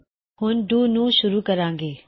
ਹੁਣ ਅਸੀਂ ਆਪਣੇ ਡੂ ਨੂੰ ਸ਼ੁਰੂ ਕਰਾਂਗੇ